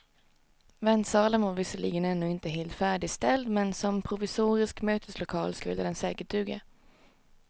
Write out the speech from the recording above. Väntsalen var visserligen ännu inte helt färdigställd, men som provisorisk möteslokal skulle den säkert duga.